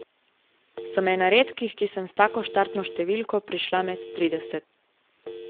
Sem ena redkih, ki sem s tako štartno številko prišla med trideset.